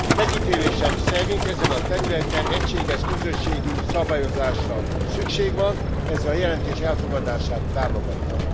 Megítélésem szerint ezen a területen egységes közösségi szabályozásra szükség van, ezért a jelentés elfogadását támogattam.